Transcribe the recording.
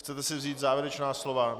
Chcete si vzít závěrečná slova?